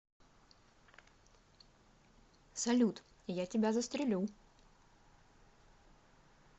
салют я тебя застрелю